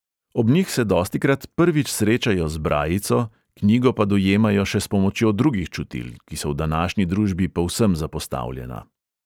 Ob njih se dostikrat prvič srečajo z brajico, knjigo pa dojemajo še s pomočjo drugih čutil, ki so v današnji družbi povsem zapostavljena.